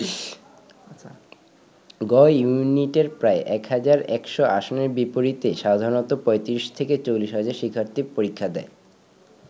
গ ইউনিটের প্রায় ১ হাজার ১০০ আসনের বিপরীতে সাধারণত ৩৫-৪০ হাজার শিক্ষার্থী পরীক্ষা দেয়।